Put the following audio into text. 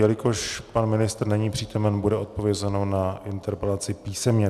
Jelikož pan ministr není přítomen, bude odpovězeno na interpelaci písemně.